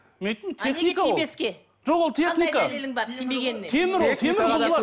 мен айттым жоқ ол техника темір ол темір бұзылады